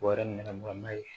Wara nɛgɛmarama ye